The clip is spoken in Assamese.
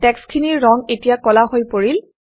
টেক্সটখিনিৰ ৰং এতিয়া কলা হৈ পৰিল